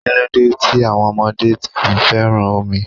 Kíló dé tí àwọn ọmọdé fi féràn omi?